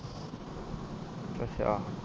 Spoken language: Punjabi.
ਅੱਛਾ